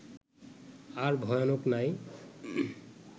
আর ভয়ানক নাই